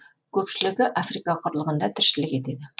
көпшілігі африка құрлығында тіршілік етеді